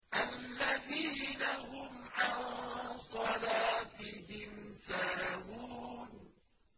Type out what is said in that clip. الَّذِينَ هُمْ عَن صَلَاتِهِمْ سَاهُونَ